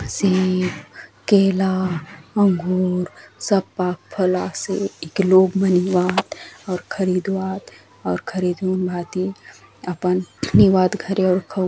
सेब केला अंगूर सब पाक फल आसे एके लोग मन एउआत अउर खरीदुआत अउर खरीदूँन भांति अपन नेउआत घरे अउर खाऊ --